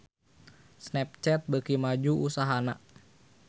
Snapchat beuki maju usahana